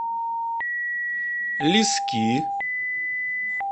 лиски